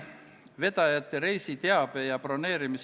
Head kolleegid, daamid ja härrad!